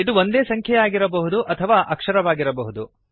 ಇದು ಒಂದೇ ಸಂಖ್ಯೆಯಾಗಿರಬಹುದು ಅಥವಾ ಅಕ್ಷರವಾಗಿರಬಹುದು